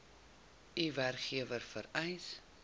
u werkgewer vereis